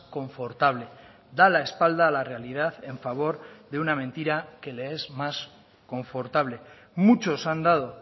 confortable da la espalda a la realidad en favor de una mentira que le es más confortable muchos han dado